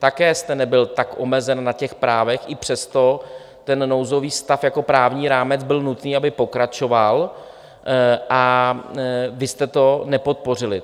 Také jste nebyl tak omezen na těch právech, i přesto ten nouzový stav jako právní rámec byl nutný, aby pokračoval, a vy jste to nepodpořili.